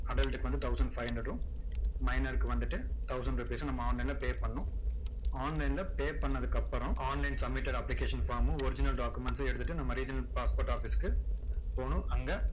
adult க்கு வந்து thousand five hundred உம் minor க்கு வந்துட்டு thousand rupees உம் நம்ம online ல pay பண்ணணும் online ல pay பண்ணதுக்கு அப்பறம் online submitted application form மும் original documents ய்ம் எடுத்துட்டு நம்ம regional passport office க்கு போகணும். அங்க